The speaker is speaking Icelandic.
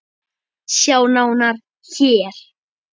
Sjá nánar HÉR!